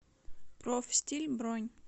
профстиль бронь